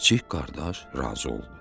Kiçik qardaş razı oldu.